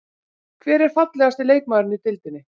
Hver er fallegasti leikmaðurinn í deildinni?